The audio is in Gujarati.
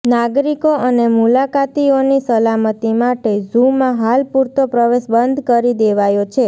નાગરિકો અને મુલાકાતીઓની સલામતી માટે ઝુમાં હાલ પૂરતો પ્રવેશ બંધ કરી દેવાયો છે